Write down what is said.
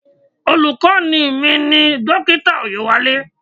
Olùkọ́ni mi ni Dókítà Oyewale.